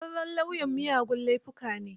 Ƙwararren lauyan miyagun laifuka ne.